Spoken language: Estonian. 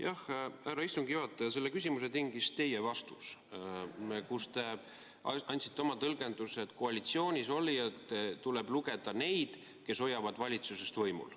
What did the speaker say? Jah, härra istungi juhataja, selle küsimuse tingis teie vastus, kus te andsite oma tõlgenduse, et koalitsioonis olijateks tuleb lugeda neid, kes hoiavad valitsust võimul.